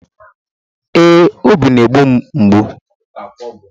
Ee, obi na-egbu m mgbu